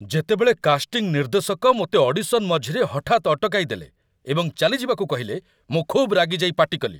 ଯେତେବେଳେ କାଷ୍ଟିଂ ନିର୍ଦ୍ଦେଶକ ମୋତେ ଅଡ଼ିସନ୍ ମଝିରେ ହଠାତ୍ ଅଟକାଇଦେଲେ ଏବଂ ଚାଲିଯିବାକୁ କହିଲେ, ମୁଁ ଖୁବ୍ ରାଗିଯାଇ ପାଟିକଲି।